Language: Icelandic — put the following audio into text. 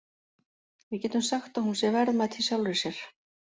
Við getum sagt að hún sé verðmæt í sjálfri sér.